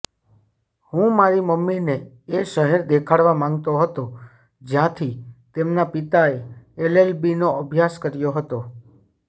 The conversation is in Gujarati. હું મારી મમ્મીને એ શહેર દેખાડવા માંગતો હતો જ્યાંથી તેમના પિતાએ એલએલબીનો અભ્યાસ કર્યો હતો